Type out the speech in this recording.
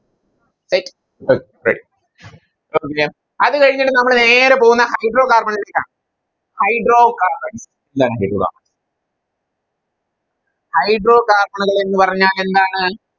അത് കഴിഞ്ഞ് നമ്മൾ നേരെ പോകുന്ന Hydro carbon ലേക്കാണ് Hydrocarbon Hydrocarbon കൾ എന്ന് പറഞ്ഞാലെന്താണ്